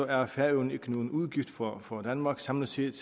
er færøerne ikke nogen udgift for for danmark samlet set